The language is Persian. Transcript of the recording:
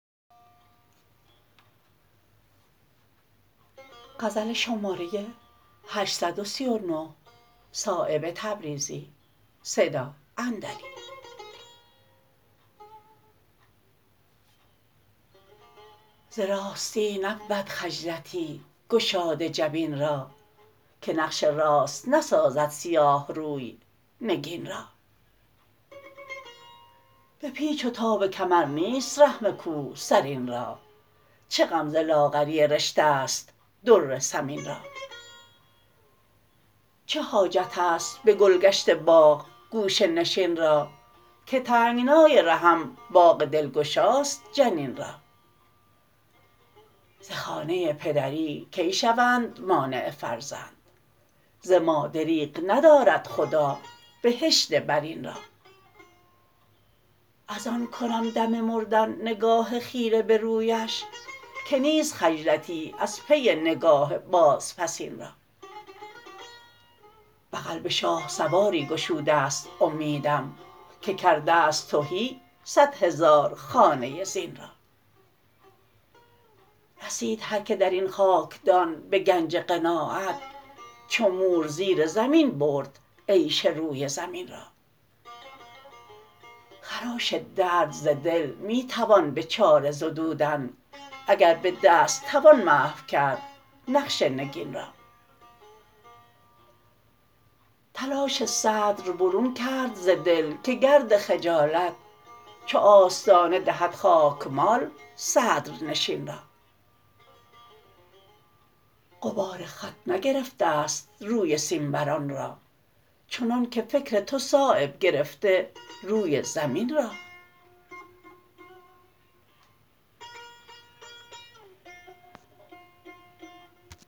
ز راستی نبود خجلتی گشاده جبین را که نقش راست نسازد سیاه روی نگین را به پیچ و تاب کمر نیست رحم کوه سرین را چه غم ز لاغری رشته است در ثمین را چه حاجت است به گلگشت باغ گوشه نشین را که تنگنای رحم باغ دلگشاست جنین را ز خانه پدری کی شوند مانع فرزند ز ما دریغ ندارد خدا بهشت برین را ازان کنم دم مردن نگاه خیره به رویش که نیست خجلتی از پی نگاه بازپسین را بغل به شاهسواری گشوده است امیدم که کرده است تهی صد هزار خانه زین را رسید هر که درین خاکدان به گنج قناعت چو مور زیر زمین برد عیش روی زمین را خراش درد ز دل می توان به چاره زدودن اگر به دست توان محو کرد نقش نگین را تلاش صدر برون کرد ز دل که گرد خجالت چو آستانه دهد خاکمال صدر نشین را غبار خط نگرفته است روی سیمبران را چنان که فکر تو صایب گرفته روی زمین را